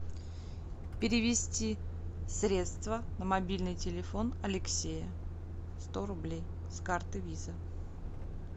перевести средства на мобильный телефон алексея сто рублей с карты виза